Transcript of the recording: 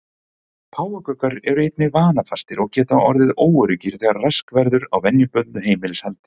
Páfagaukar eru einnig vanafastir og geta orðið óöruggir þegar rask verður á venjubundnu heimilishaldi.